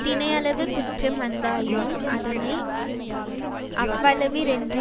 தினையளவு குற்றம் வந்ததாயினும் அதனை அவ்வளவிற்றென்று